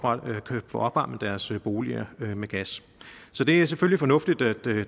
opvarmet deres boliger med gas så det er selvfølgelig fornuftigt at